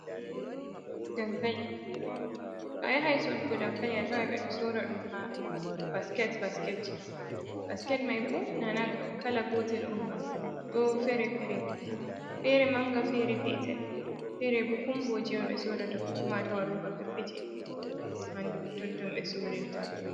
Dankali, a yahan sodugu dankali a tawan ɓe do sora ɗum ha basket basketji. Basket mai bo na na kala gotel on ba ɗon fere - fere. Fere manga fere petel fere bo kumboje be sorirta ko kuma a tawan ha roba peppetel ha totton be sorirta.